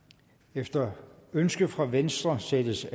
efter ønske fra venstre sættes